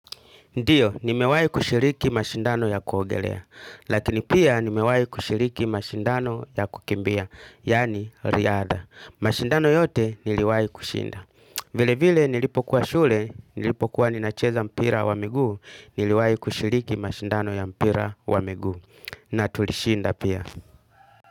Ndiyo, nimewai kushiriki mashindano ya kuogelea, lakini pia nimewai kushiriki mashindano ya kukimbia, yaani riadha. Mashindano yote niliwai kushinda. Vile vile nilipo kuwa shule, nilipo kuwa nina cheza mpira wa miguu, niliwai kushiriki mashindano ya mpira wa miguu. Na tulishinda pia.